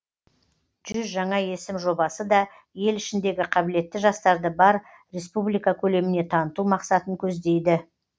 жүз жаңа есім жобасы да ел ішіндегі қабілетті жастарды бар республика көлеміне таныту мақсатын көздейді